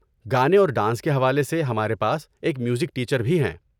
گانے اور ڈانس کے حوالے سے، ہمارے پاس ایک میوزک ٹیچر بھی ہیں۔